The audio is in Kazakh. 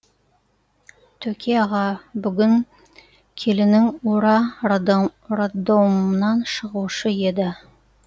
төке аға бүгін келінің ура роддомнан шығушы еді